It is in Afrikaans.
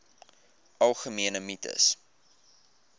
algemene mites